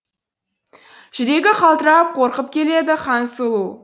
жүрегі қалтырап қорқып келеді хансұлу